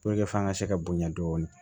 f'an ka se ka bonya dɔɔni